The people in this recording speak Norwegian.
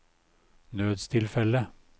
nødstilfelle